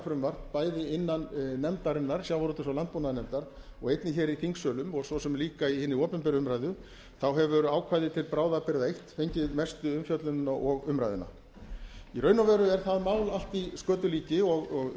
frumvarp bæði innan nefndarinnar sjávarútvegs og landbúnaðarnefndar og einnig hér í þingsölum og svo sem líka í hinni opinberu umræðu þá hefur ákvæðið til bráðabirgða einn fengið mestu umfjöllunina og umræðuna í raun og veru er það mál allt í skötulíki og